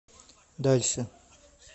дальше